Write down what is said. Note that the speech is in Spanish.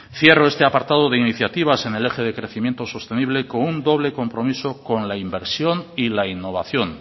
cierro este apartado de iniciativas en el eje de crecimiento sostenible con un doble compromiso con la inversión y la innovación